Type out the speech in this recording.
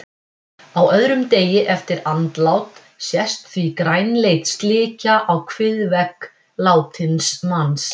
Á öðrum degi eftir andlát sést því grænleit slikja á kviðvegg látins manns.